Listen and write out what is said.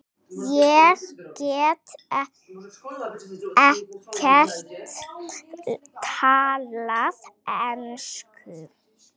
Ég get ekkert talað ensku.